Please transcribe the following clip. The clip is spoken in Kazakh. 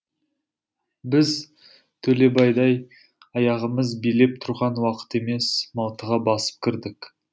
біз төлебайдай аяғымыз билеп тұрған уақыт емес малтыға басып кірдік